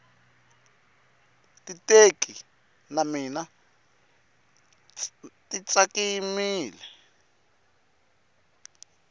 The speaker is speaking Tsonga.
titeki ta mina ti tsakamile